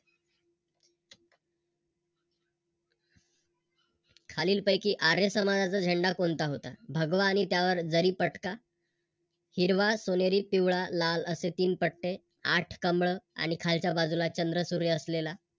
खालील पैकी आर्य समाजाचा झेंडा कोणता होता भगवा आणि त्यावर जरीपटका? हिरवा, सोनेरी, पिवळा, लाल असे तीन पट्टे, आठ कमळ आणि खालच्या बाजूला चंद्र सूर्य असलेला